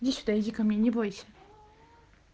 иди сюда иди ко мне не бойся